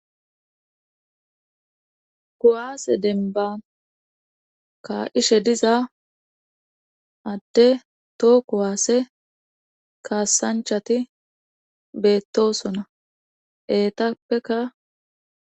kuwaase denban kaishe diza adde too kuwaase kaassanchati beettosona eetappeka